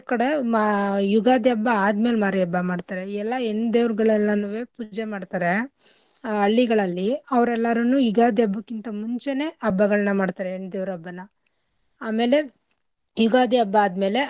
ಕಡೆ ಮ~ ಯುಗಾದಿ ಹಬ್ಬ ಆದ್ಮೇಲೆ ಮಾರಿ ಹಬ್ಬ ಮಾಡ್ತರೆ ಎಲ್ಲಾ ಹೆಣ್ ದೇವ್ರ್ಗಳೆಲ್ಲಾನೂವೆ ಪೂಜೆ ಮಾಡ್ತರೆ ಆ ಹಳ್ಳಿಗಳಲ್ಲಿ ಅವ್ರರೆಲ್ಲಾರುನೂ ಯುಗಾದಿ ಹಬ್ಬಕಿಂತ ಮುಂಚೆನೆ ಹಬ್ಬಗಳ್ನ ಮಾಡ್ತರೆ ಹೆಣ್ ದೇವ್ರ್ ಹಬ್ಬನ ಆಮೇಲೆ ಯುಗಾದಿ ಹಬ್ಬ ಆದ್ಮೇಲೆ.